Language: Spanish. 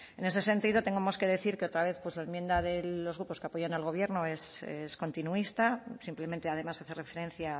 en ese sentido tenemos que decir que otra vez pues la enmienda de los grupos que apoyan al gobierno es continuista simplemente además hace referencia